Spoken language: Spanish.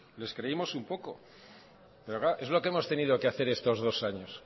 pero claro es lo que hemos tenido que hacer estos dos años